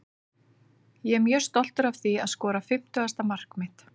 Ég er mjög stoltur að því að skora fimmtugasta mark mitt.